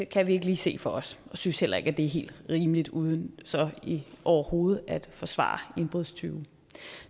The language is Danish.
kan vi ikke lige se for os og synes heller ikke det er helt rimeligt uden så overhovedet at forsvare indbrudstyve